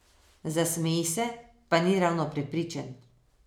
Zasmeji se, pa ni ravno prepričan.